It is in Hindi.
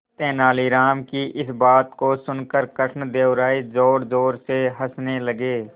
तेनालीराम की इस बात को सुनकर कृष्णदेव राय जोरजोर से हंसने लगे